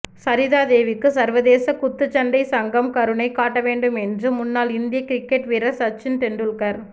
சரிதா தேவிக்கு சர்வதேச குத்துச்சண்டை சங்கம் கருணை காட்ட வேண்டும் என்று முன்னாள் இந்திய கிரிக்கெட் வீரர் சச்சின் டெண்டுல்கர்